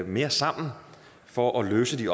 mere sammen for at løse de